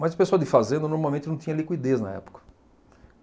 Mas o pessoal de fazenda normalmente não tinha liquidez na época.